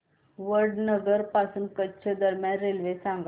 वडनगर पासून कच्छ दरम्यान रेल्वे सांगा